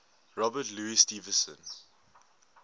robert louis stevenson